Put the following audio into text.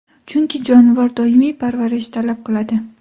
Chunki jonivor doimiy parvarish talab qiladi.